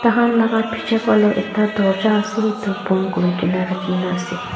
takhan laga pichey phaleh ekta dorja asey etu bon kurigina rakhina asey.